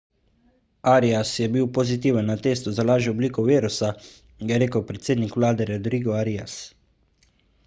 arias je bil pozitiven na testu za lažjo obliko virusa je rekel predsednik vlade rodrigo arias